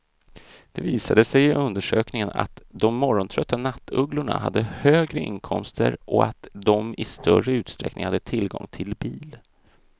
Det visade sig i undersökningen att de morgontrötta nattugglorna hade högre inkomster och att de i större utsträckning hade tillgång till bil.